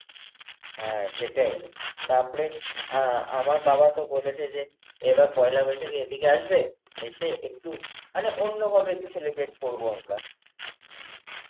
হ্যাঁ, সেটাই. তারপরে আ আমার বাবাতো বলেছে যে, এবার পয়লা বৈশাখে এদিকে আসবে এসে একটু মানে অন্যভাবে একটু celebrate করব আমরা.